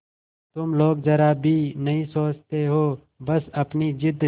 तुम लोग जरा भी नहीं सोचती हो बस अपनी जिद